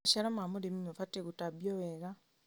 Maciaro ma ũrĩmi mabatiĩ gũtambio wega.